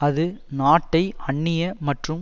அது நாட்டை அன்னிய மற்றும்